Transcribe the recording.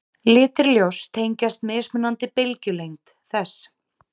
Litir ljóss tengjast mismunandi bylgjulengd þess.